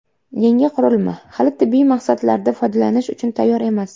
Yangi qurilma hali tibbiy maqsadlarda foydalanish uchun tayyor emas.